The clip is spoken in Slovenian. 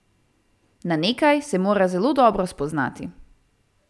Na nekaj se mora zelo dobro spoznati.